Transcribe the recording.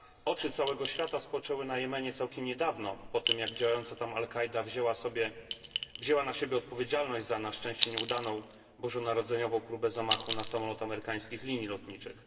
Oczy całego świata spoczęły na Jemenie całkiem niedawno, po tym jak działająca tam al Kaida wzięła na siebie odpowiedzialność za, na szczęcie, nieudaną bożonarodzeniową próbę zamachu na samolot amerykańskich linii lotniczych.